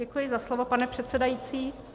Děkuji za slovo, pane předsedající.